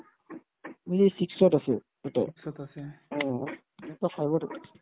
বোলে six ত আছে এটা অ এটা five ত এটা